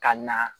Ka na